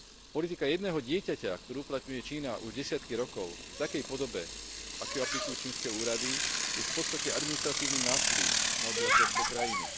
Politika jedného dieťaťa, ktorú uplatňuje Čína už desiatky rokov v takej podobe, v akej ju aplikujú čínske úrady, je v podstate administratívnym násilím na obyvateľstve krajiny.